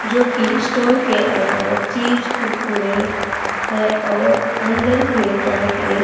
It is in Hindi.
जो की स्टोर के अंदर चिप्स कुरकुरे है और अंदर के तरफ एक--